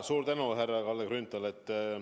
Suur tänu, härra Kalle Grünthal!